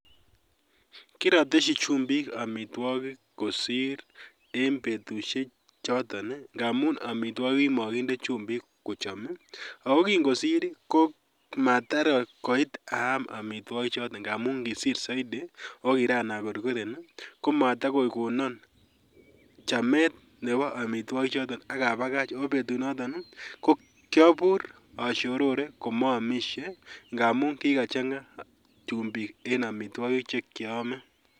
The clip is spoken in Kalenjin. Kiroteshi chumbik omitwogik kosir en betushechoton ii amun omitwogik kokimokinde chumbik kochom ii ako kingosir ii komator aam omitwokichoto amun kisir soiti oo kiran okorkoren ii komatokokonon chamet nebo omitwokichoton ak abakach kobetunoton ko kiobur oshorore komoomishe ngamun kikachanga chumbik en omitwogik chekiome.